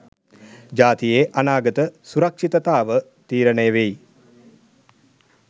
ජාතියේ අනාගත සුරක්ශිතතාව තීරනය වෙයි